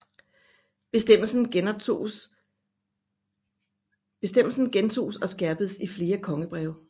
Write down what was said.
Bestemmelsen gentoges og skærpedes i flere kongebreve